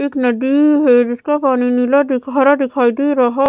एक नदीीी है जिसका पानी नीला दिख हरा दिखाई दे रहा --